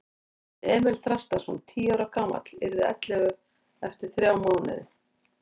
Hann hét Emil Þrastarson, tíu ára gamall, yrði ellefu eftir þrjá mánuði.